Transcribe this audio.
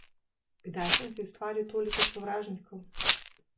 Kdaj sem si ustvaril toliko sovražnikov?